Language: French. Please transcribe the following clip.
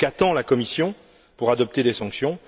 Qu'attend la Commission pour adopter des sanctions?